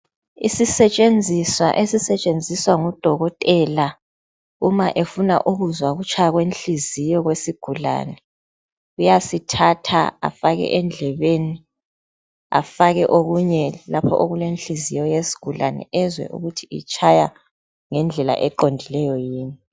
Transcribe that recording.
issetshenziswa esisetshenziswa ngo dokotela uma efuna ukutzwa ukutshanya kwenhliziyo kwesigulane uyasithatha afake endlebeni afke okunye lapho okulenhliziyo yesigulane ezwe ukuthi itshya ngendlela eqondileyo yini